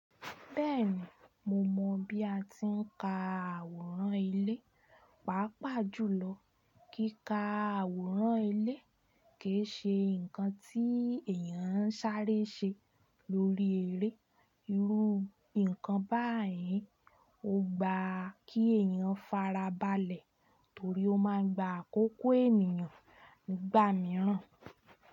Bẹ́ẹ̀ni mo mọ̀ bí a ti ń ka àwòrán ilé. Paapàjùlọ kí ka àwòrán ilé kì í ṣe ǹkan tí èyàn ń sáré ṣe lórí eré. Irú ǹkan báyìí ò gba kí èyàn fara balẹ̀ torí ó ma ń gba àkókò ènìyàn nígbà mìíràn.